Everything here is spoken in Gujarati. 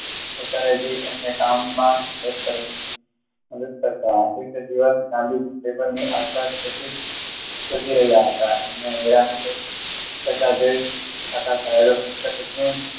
એમને કામ માં મદદ કરતા દિવસ ગાંધીજી ટેબલ ની આસપાસ જાગી રહયા હતા